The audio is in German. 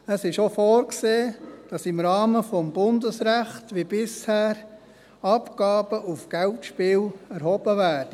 Es ist auch vorgesehen, dass im Rahmen des Bundesrechts wie bisher Abgaben auf Geldspielen erhoben werden.